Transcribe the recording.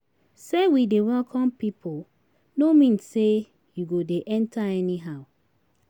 Sey we dey welcome pipu no mean sey you go dey enta anyhow.